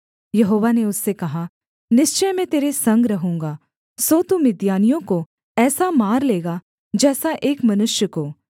यहोवा ने उससे कहा निश्चय मैं तेरे संग रहूँगा सो तू मिद्यानियों को ऐसा मार लेगा जैसा एक मनुष्य को